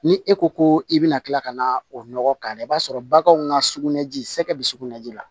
Ni e ko ko i bɛna kila ka na o nɔgɔ k'a la i b'a sɔrɔ baganw ka sugunɛji sɛgɛ be sugunɛ ji la